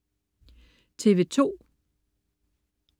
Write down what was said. TV2: